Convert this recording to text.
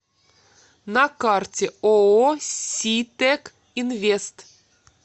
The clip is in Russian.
на карте ооо ситек инвест